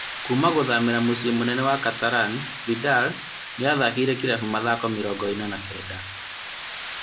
Kuuma gũthamĩra mũciĩ mũnene wa Catalan, Vidal nĩyathakĩire kĩrabu mathako mĩrongo ĩna na kenda